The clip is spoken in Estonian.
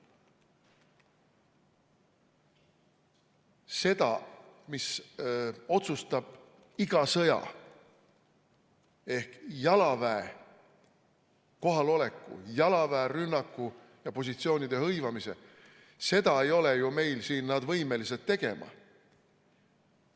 Seda, mis otsustab iga sõja ehk jalaväe kohaloleku, jalaväe rünnaku ja positsioonide hõivamise, seda ei ole ju meil siin nad võimelised tegema.